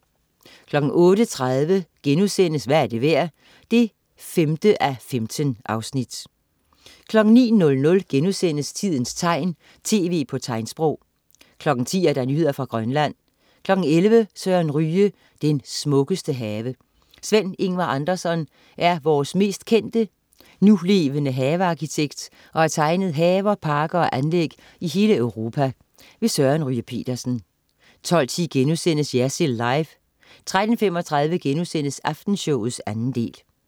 08.30 Hvad er det værd? 5:15* 09.00 Tidens tegn, tv på tegnsprog* 10.00 Nyheder fra Grønland 11.00 Søren Ryge: Den smukkeste have. Sven Ingvar Andersson er vores mest kendte, nulevende havearkitekt og har tegnet haver, parker og anlæg i hele Europa. Søren Ryge Petersen 12.10 Jersild Live* 13.35 Aftenshowet 2. del*